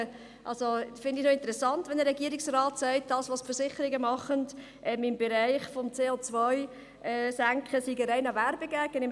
Ich finde es allerdings interessant, wenn ein Regierungsrat sagt, dass das, was die Versicherungen im Bereich der Senkung des CO-Ausstosses tun, ein reiner Werbegag sei.